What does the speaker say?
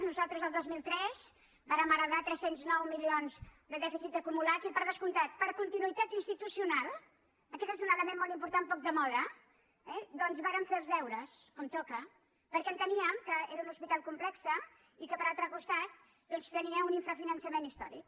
nosaltres el dos mil tres vàrem heretar tres cents i nou milions de dèficit acumulat i per descomptat per continuï·tat institucional aquest és un element molt impor·tant poc de moda doncs vàrem fer els deures com toca perquè enteníem que era un hospital complex i que per altre costat doncs tenia un infrafinança·ment històric